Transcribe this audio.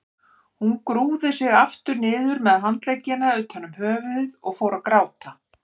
Hún grúfði sig aftur niður með handleggina utan um höfuðið og fór að gráta.